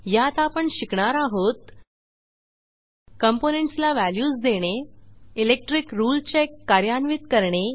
यात आपण शिकणार आहोत कॉम्पोनेंट्स ला व्हॅल्यूज देणे इलेक्ट्रिक रुळे चेक कार्यान्वित करणे